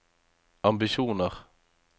ambisjoner